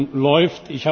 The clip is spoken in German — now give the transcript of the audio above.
Diese Prüfung läuft.